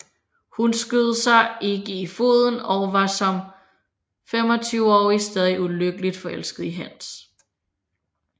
Hun skød sig ikke i foden og var som femogtyveårig stadig ulykkeligt forelsket i Hans